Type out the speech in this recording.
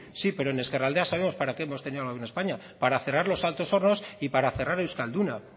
sí pero en ezkerraldea sabemos para qué hemos tenido el gobierno de españa para cerrar los altos hornos y para cerrar euskalduna